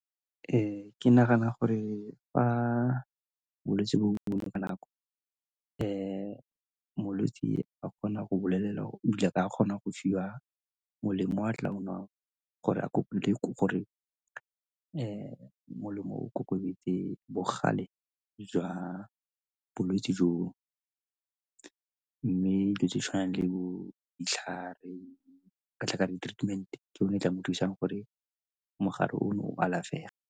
Ke nagana gore fa bolwetsi ka nako molwetsi a ka kgona go bolelela ebile a ka kgona go fiwa molemo o a tla go nwang gore a gore molemo o bogale jwa bolwetsi joo. Mme dilo tshwanang le bo ditlhare ka di-treatment ke yone e tla mo thusang gore mogare ono o alafege.